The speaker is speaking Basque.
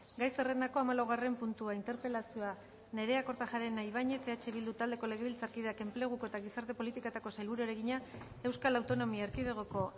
gai zerrendako hamalaugarren puntua interpelazioa nerea kortajarena ibañez eh bildu taldeko legebiltzarkideak enpleguko eta gizarte politiketako sailburuari egina euskal autonomia erkidegoko